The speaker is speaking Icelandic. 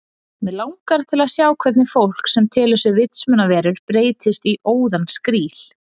Mig langar til að sjá hvernig fólk sem telur sig vitsmunaverur breytist í óðan skríl